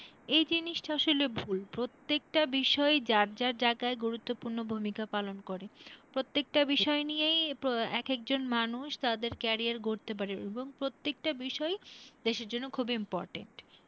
এই জিনিসটা আসলে ভুল প্রত্যেকটা বিষয়েই যার যা জায়গায় গুরুত্তপূর্ণ ভূমিকা পালন করে। প্রত্যেকটা বিষয় নিয়েই এক একজন মানুষ তাদের career গড়তে পারে এবং প্রত্যেকটা বিষয়ই দেশের জন্য খুব important